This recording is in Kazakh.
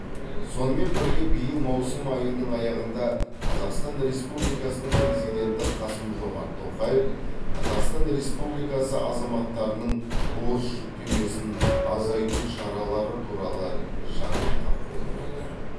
сонымен бірге биыл маусым айының аяғында қазақстан республикасының президенті қасым жомарт тоқаев қазақстан республикасы азаматтарының борыш жүктемесін азайту шаралары туралы жарлыққа қол қойды